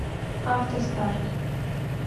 автостарт